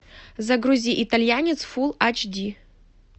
загрузи итальянец фулл ач ди